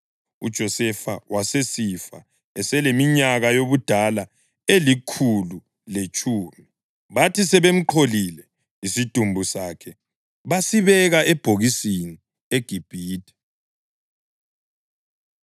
UJosefa wasesifa eseleminyaka yobudala elikhulu letshumi. Bathi sebemqholile, isidumbu sakhe basibeka ebhokisini eGibhithe.